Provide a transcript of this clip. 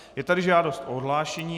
Je tady žádost o odhlášení.